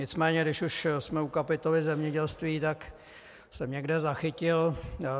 Nicméně když už jsme u kapitoly zemědělství, tak jsem někde zachytil...